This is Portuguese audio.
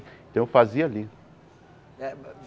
Então eu fazia ali.